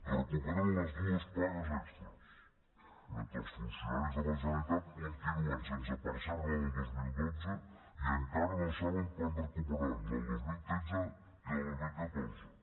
recuperen les dues pagues extres mentre que els funcionaris de la generalitat continuen sense percebre la del dos mil dotze i encara no saben quan recuperaran la del dos mil tretze i la del dos mil catorze